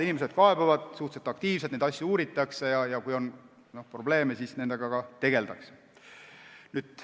Inimesed kaebavad suhteliselt aktiivselt, neid asju uuritakse ja kui on probleeme, siis nendega tegeldakse.